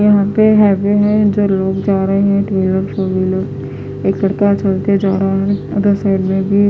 यहाँ पर है भी है जो रोड जा रहे है रोड ऊपर का चलते जा रहा है उदर से--